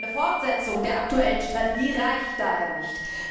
Eine Fortsetzung der aktuellen Strategie reicht daher nicht.